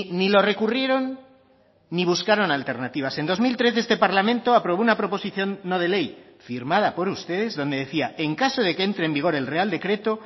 ni lo recurrieron ni buscaron alternativas en dos mil trece este parlamento aprobó una proposición no de ley firmada por ustedes donde decía en caso de que entre en vigor el real decreto